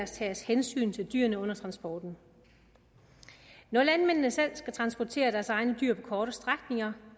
tages hensyn til dyrene under transporten når landmændene selv skal transportere deres egne dyr på korte strækninger